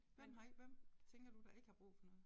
Hvem har ikke hvem tænker du der ikke har brug for noget